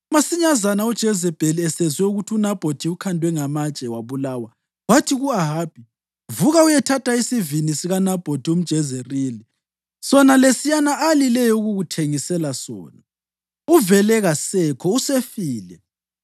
Masinyazana uJezebheli esezwe ukuthi uNabhothi ukhandwe ngamatshe wabulawa, wathi ku-Ahabi, “Vuka uyethatha isivini sikaNabhothi umJezerili sona lesiyana alileyo ukukuthengisela sona. Uvele kasekho, usefile.”